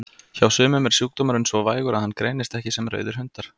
Hjá sumum er sjúkdómurinn svo vægur að hann greinist ekki sem rauðir hundar.